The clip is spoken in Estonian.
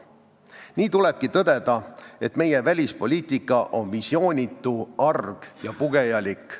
Nii tulebki tõdeda, et meie välispoliitika on visioonitu, arg ja pugejalik.